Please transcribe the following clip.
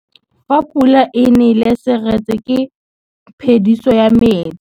Fa pula e nelê serêtsê ke phêdisô ya metsi.